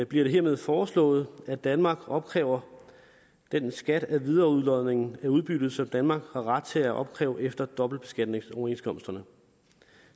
bliver det hermed foreslået at danmark opkræver den skat af videreudlodning af udbyttet som danmark har ret til at opkræve efter dobbeltbeskatningsoverenskomsterne